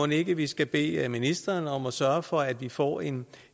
ikke vi skal bede ministeren om at sørge for at vi får en